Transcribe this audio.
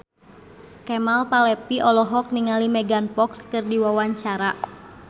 Kemal Palevi olohok ningali Megan Fox keur diwawancara